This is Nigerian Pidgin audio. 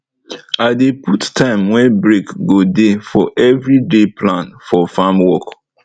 i dey put time wey break go dey for every day plan for farm work